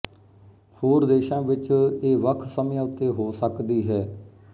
ਹੋਰ ਦੇਸ਼ਾਂ ਵਿੱਚ ਇਹ ਵੱਖ ਸਮਿਆਂ ਉੱਤੇ ਹੋ ਸਕਦੀ ਹੈ